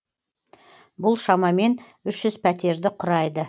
бұл шамамен үш жүз пәтерді құрайды